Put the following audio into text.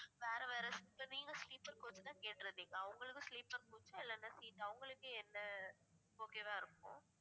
வேற வேற seat ல sleeper coach தான் கேட்டு இருந்தீங்க அவங்களுக்கும் sleeper coach ஆ இல்லைனா seat அவங்களுக்கு என்ன okayவா இருக்கும்